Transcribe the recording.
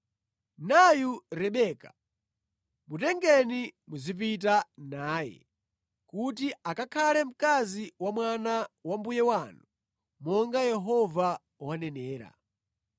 Nayu Rebeka, mutengeni muzipita naye kuti akakhale mkazi wa mwana wa mbuye wanu, monga Yehova wanenera.”